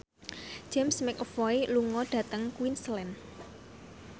James McAvoy lunga dhateng Queensland